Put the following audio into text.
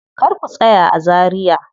Kar ku tsaya a Zaria.